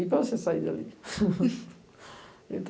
e para você sair dali.